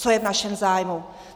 Co je v našem zájmu?.